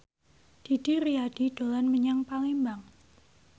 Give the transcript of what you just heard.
Didi Riyadi dolan menyang Palembang